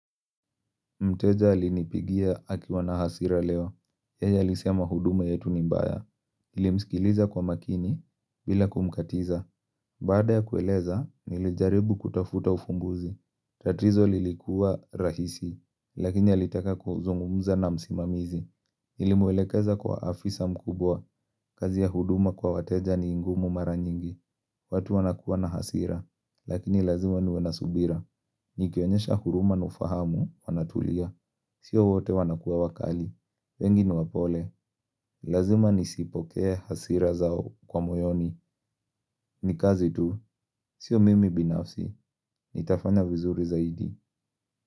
Mteja alinipigia akiwa na hasira leo. Yeye alisema huduma yetu ni mbaya. Nilimsikiliza kwa makini bila kumkatiza. Baada ya kueleza, nilijaribu kutafuta ufumbuzi. Tatizo lilikuwa rahisi, lakini alitaka kuzungumza na msimamizi. Nilimwelekeza kwa afisa mkubwa, kazi ya huduma kwa wateja ni ngumu mara nyingi. Watu wanakuwa na hasira, lakini lazima niwe na subira. Nikionyesha huruma na ufahamu wanatulia. Sio wote wanakuwa wakali wengi ni wapole Lazima nisipokee hasira zao kwa moyoni Nikazi tu Sio mimi binafsi Nitafanya vizuri zaidi.